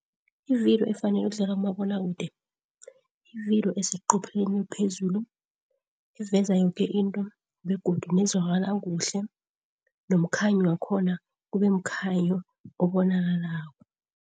Ividiyo efanele ukudlula kumabonwakude ividiyo eseqopheleni eliphezulu, eveza yoke into begodu nezwakala kuhle nomkhanyo wakhona kubemkhanyo obonakalako.